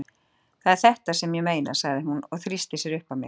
Það er þetta sem ég meina, sagði hún og þrýsti sér uppað mér.